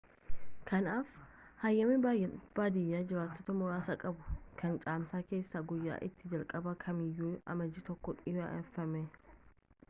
kanaaf hayyami baadiyyaa jiraattota muraasa qabuu kan caamsaa keessaa guyyaa itti jalqaban kamiiyyuu amajjii 1 dhiyeeffama